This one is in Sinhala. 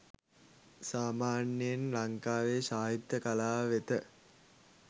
සාමාන්‍යයෙන් ලංකාවේ සාහිත්‍ය කලාව වෙත